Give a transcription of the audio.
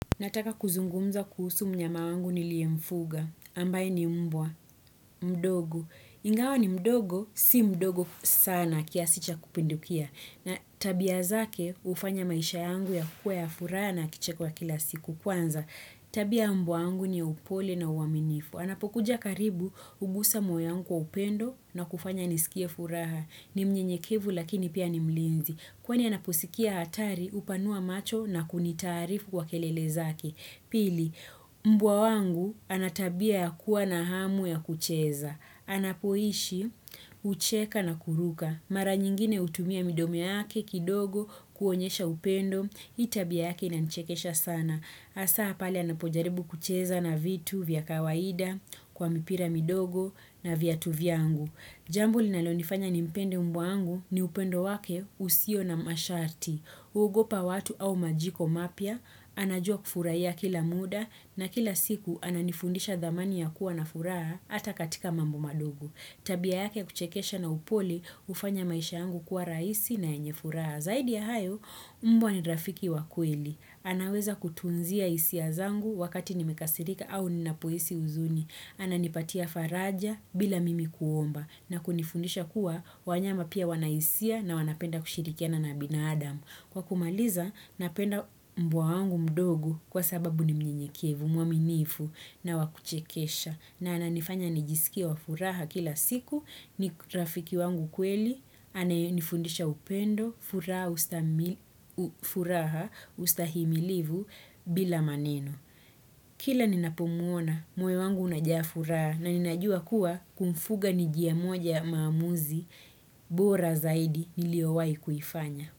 Nataka kuzungumza kuhusu mnyama wangu nilie mfuga, ambaye ni mbwa, mdogo. Ingawa ni mdogo, si mdogo sana kiasi cha kupindukia. Na tabia zake ufanya maisha yangu yakue ya furaha na kicheko ya kila siku kwanza. Tabia ya mbwa wangu ni upole na uaminifu. Anapokuja karibu, ugusa moyo wangu kwa upendo na kufanya niskie furaha. Ni mnyenyekevu lakini pia ni mlinzi. Kwani anaposikia hatari upanua macho na kunitaarifu kwa kelele zake. Pili, mbwa wangu ana tabia ya kuwa na hamu ya kucheza. Anapoishi, ucheka na kuruka. Mara nyingine utumia midomo yake kidogo, kuonyesha upendo, hii tabia yake inanichekesha sana. Asa pale anapojaribu kucheza na vitu vya kawaida, kwa mipira midogo na viatu vyangu Jambo linalo nifanya nimpende mbwa wangu ni upendo wake usio na masharti. Uogopa watu au majiko mapya, anajua kufurahia kila muda na kila siku ananifundisha dhamani ya kuwa na furaha hata katika mambo magumu. Tabia yake huchekesha na upole ufanya maisha yangu kuwa rahisi na yenye furaha. Zaidi ya hayo, mbwa ni rafiki wa kweli. Anaweza kutunzia isia zangu wakati nimekasirika au ninapoisi uzuni. Ananipatia faraja bila mimi kuomba. Na kunifundisha kuwa wanyama pia wanaisia na wanapenda kushirikia na binaadam Kwa kumaliza, napenda mbwa wangu mdogo kwa sababu ni mnyenyekevu, mwaminifu na wakuchekesha. Na ananifanya nijisikie wa furaha kila siku, ni rafiki wangu kweli, anayenifundisha upendo, furaha ustahimilivu bila maneno. Kila ninapomuona moyo wangu unajaa furaha na ninajua kuwa kumfuga ni jia moja ya maamuzi bora zaidi niliowai kuifanya.